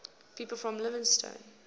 people from leytonstone